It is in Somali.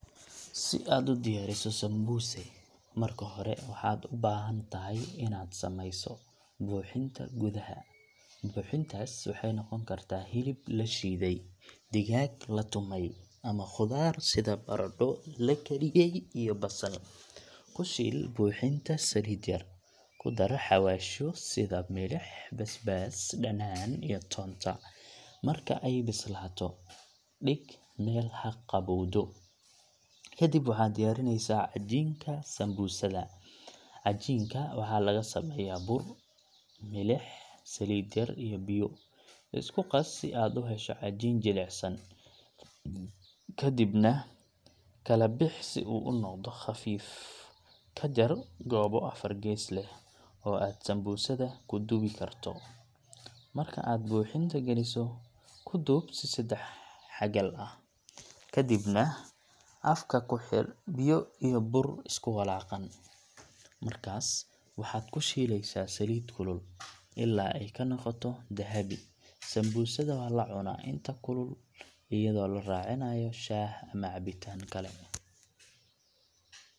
Si aad u diyaariso sambuuse, marka hore waxaad u baahan tahay inaad sameyso buuxinta gudaha. Buuxintaas waxay noqon kartaa hilib la shiiday, digaag la tumay, ama khudaar sida baradho la kariyay iyo basal. Ku shiil buuxinta saliid yar, ku dar xawaashyo sida milix, basbaas, dhanaan, iyo toonta. Marka ay bislaato, dhig meel ha qaboowdo. Kadib waxaad diyaarinaysaa cajiinka sambuusada. Cajiinka waxaa laga sameeyaa bur, milix, saliid yar iyo biyo. Isku qas si aad u hesho cajiin jilicsan, kadibna kala bix si uu u noqdo khafiif. Ka jar goobo afar gees leh oo aad sambuusada ku duubi karto. Marka aad buuxinta geliso, ku duub si saddex-xagal ah, kadibna afka ku xidh biyo iyo bur isku walaaqan. Markaas waxaad ku shiilaysaa saliid kulul ilaa ay ka noqoto dahabi. Sambuusada waa la cunaa inta kulul iyadoo la raacinayo shaah ama cabitaan kale.